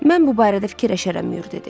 Mən bu barədə fikirləşərəm, Mür dedi.